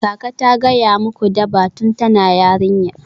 Kaka ta gaya muku Durbar tun tana yarinya?